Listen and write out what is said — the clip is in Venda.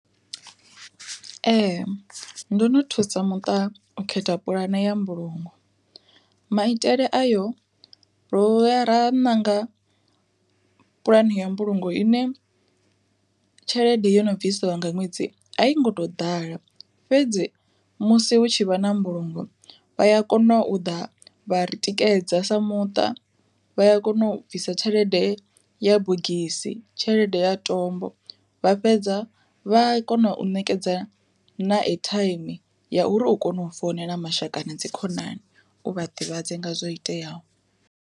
Ee ndo no thusa muṱa u khetha puḽane ya mbulungo, maitele ayo ro vhuya ra ṋanga puḽane ya mbulungo ine tshelede yo no bvisiwa nga ṅwedzi a i ngo to ḓala fhedzi musi hu tshi vha na mbulungo vha ya kona u ḓa vha ri tikedza sa muṱa vha ya kona u bvisa tshelede ya bogisi tshelede ya tombo vha fhedza vha kona u ṋekedza na ethaimi ya uri u kone u founela mashaka na dzi khonani u vha ḓivhadze nga zwo iteaho.